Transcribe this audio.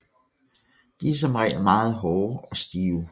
De er som regel meget hårde og stive